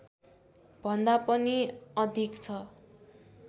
भन्दा पनि अधिक छ